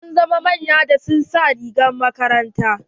Sun zama manya da su ka sa rigar makarantar.